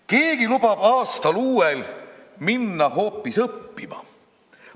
Keegi lubab aastal uuel minna hoopis õppima.